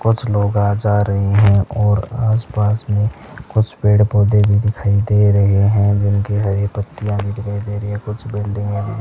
कुछ लोग आ-जा रहे हैं और आस-पास में कुछ पेड़ पौधे भी दिखाई दे रहे हैं जिनकी हरी पत्तियां भी दिखाई दे रही हैं कुछ बिल्डिंगे भी --